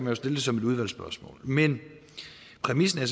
jo stille det som et udvalgsspørgsmål men præmissen er